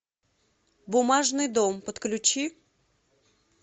бумажный дом подключи